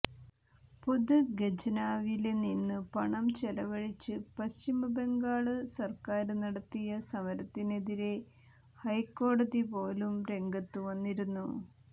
പൊതുഖജനാവില് നിന്ന് പണം ചെലവഴിച്ച് പശ്ചിമബംഗാള് സര്ക്കാര് നടത്തിയ സമരത്തിനെതിരെ ഹൈക്കോടതി പോലും രംഗത്തു വന്നിരുന്നു